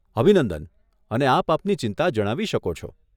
અભિનંદન અને આપ આપની ચિંતા જણાવી શકો છો.